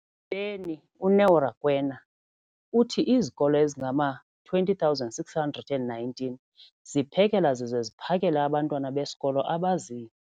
beni, uNeo Rakwena, uthi izikolo ezingama-20 619 ziphekela zize ziphakele abantwana besikolo abazi-